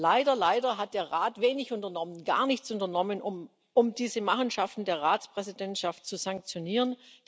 Leider, leider hat der Rat wenig unternommen gar nichts unternommen um diese Machenschaften der Ratspräsidentschaft zu sanktionieren.